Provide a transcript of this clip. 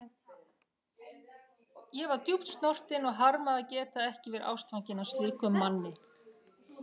Ég var djúpt snortin og harmaði að geta ekki verið ástfangin af slíkum manni.